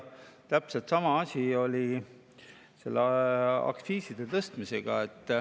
Täpselt sama asi oli aktsiiside tõstmisega.